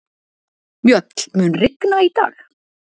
Mjöll, mun rigna í dag?